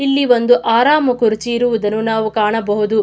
ಇಲ್ಲಿ ಒಂದು ಆರಾಮ ಕುರ್ಚಿ ಇರುವುದನ್ನು ನಾವು ಕಾಣಬಹುದು.